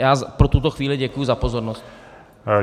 Já pro tuto chvíli děkuji za pozornost.